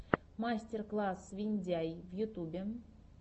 мастер класс виндяй в ютубе